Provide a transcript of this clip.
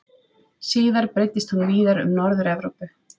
Síðar breiddist hún víðar um Norður-Evrópu.